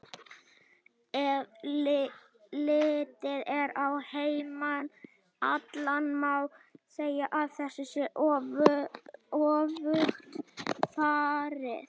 Ef litið er á heiminn allan má segja að þessu sé öfugt farið.